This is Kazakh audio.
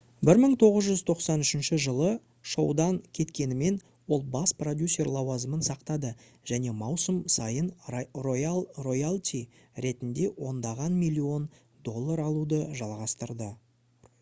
1993 жылы шоудан кеткенімен ол бас продюсер лауазымын сақтады және маусым сайын роялти ретінде ондаған миллион доллар алуды жалғастырды